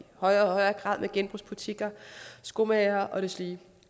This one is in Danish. højere og højere grad med genbrugsbutikker skomagere og deslige